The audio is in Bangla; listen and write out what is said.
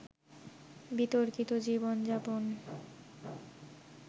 বিতর্কিত জীবনযাপন